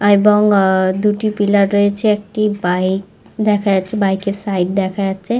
এবং আহ দুটি পিলাব় রয়েছে একটি বাইক দেখা যাচ্ছে বাইকের সাইড দেখা যাচ্ছে।